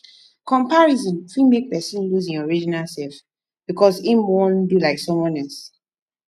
comparison fit make person lose im original self because im wan do like someone else